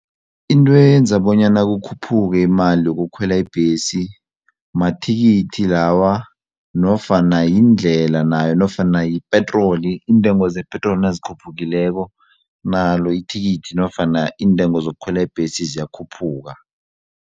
Into eyenza bonyana kukhuphuke imali yokukhwela ibhesi mathikithi lawa nofana yindlela nayo nofana yipetroli iintengo zepetroli nazikhuphukileko nalo ithikithi nofana iintengo zokukhwela ibhesi ziyakhuphuka.